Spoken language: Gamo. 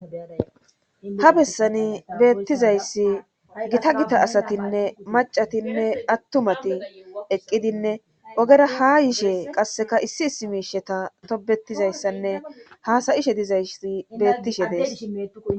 Ha bessani beettizayssi gita gita asatinne macatinne attumati eqqidinne ogera ha yishe qasseka issi issi miisheta tobetizayssanne haasayishe dizaysi bettishe dees.